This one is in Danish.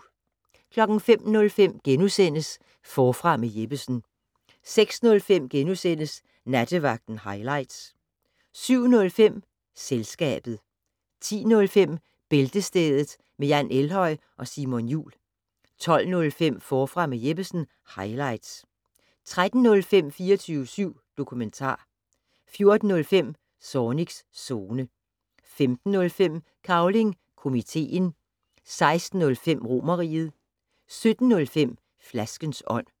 05:05: Forfra med Jeppesen * 06:05: Nattevagten highlights * 07:05: Selskabet 10:05: Bæltestedet med Jan Elhøj og Simon Jul 12:05: Forfra med Jeppesen - highlights 13:05: 24syv dokumentar 14:05: Zornigs Zone 15:05: Cavling Komiteen 16:05: Romerriget 17:05: Flaskens ånd